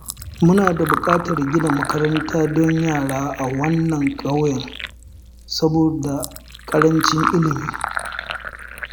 Muna da buƙatar gina makaranta don yara a wannan ƙauyen saboda ƙarancin ilimi.